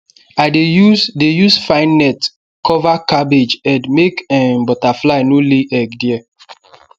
i dey use dey use fine net cover cabbage head make um butterfly no lay egg there